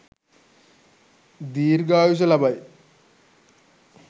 දීර්ඝායුෂ ලබයි.